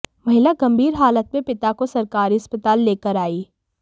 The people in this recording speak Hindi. महिला गंभीर हालत में पिता को सरकारी अस्पताल लेकर आयी